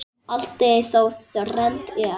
Allt er þá þrennt er.